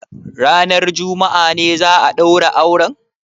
Ranar juma'a ne za a ɗaura auren?